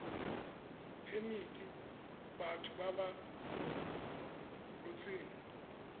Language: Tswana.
phemiti batho ba ba rotseng